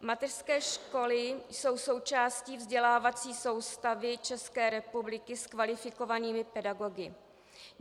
Mateřské školy jsou součástí vzdělávací soustavy České republiky s kvalifikovanými pedagogy.